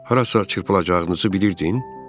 Harasa çırpılacağınızı bilirdin?